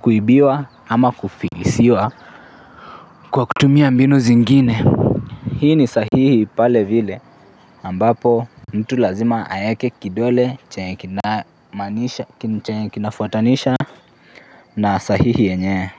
kuibiwa ama kufilisiwa kwa kutumia mbinu zingine. Hii ni sahihi pale vile ambapo mtu lazima aeke kidole chenye kinafuatanisha na sahihi yenyewe.